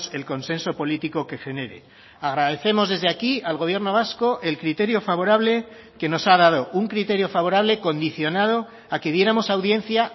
el consenso político que genere agradecemos desde aquí al gobierno vasco el criterio favorable que nos ha dado un criterio favorable condicionado a que diéramos audiencia